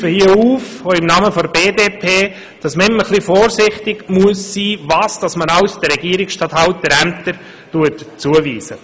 Ich rufe hier also im Namen der BDP-Fraktion auf, immer ein biss chen vorsichtig sein, was man alles den Regierungsstatthalterämtern zuweist.